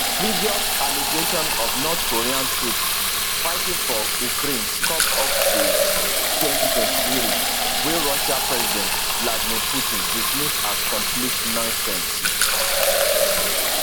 previous allegations of north korean troops fighting for ukraine come up for 2023 wey russia president vladimir putin dismiss as complete nonsense